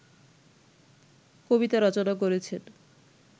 কবিতা রচনা করেছেন